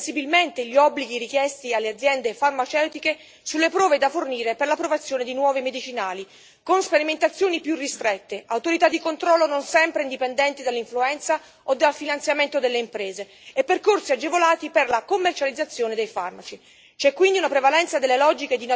Inoltre, vi è la tendenza a diminuire sensibilmente gli obblighi richiesti alle aziende farmaceutiche sulle prove da fornire per l'approvazione di nuovi medicinali con sperimentazioni più ristrette, autorità di controllo non sempre indipendenti dall'influenza o dal finanziamento delle imprese e percorsi agevolati per la commercializzazione dei farmaci.